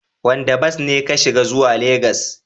Wanda bas ne ka shiga zuwa Legas?